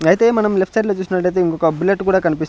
ఐతే మనం left side లో చూసినట్ట అయితే ఇంకొక బుల్లెట్ కూడా కనిపిస్ --